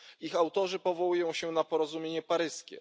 Ich autorzy powołują się na porozumienie paryskie.